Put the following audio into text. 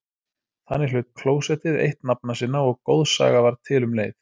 Þannig hlaut klósettið eitt nafna sinna og goðsaga varð til um leið.